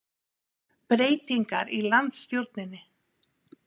Breytingar í landsstjórninni